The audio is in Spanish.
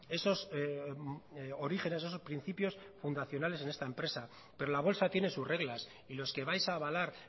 esos orígenes esos principios fundacionales en esta empresa pero la bolsa tiene sus reglas y los que vais a avalar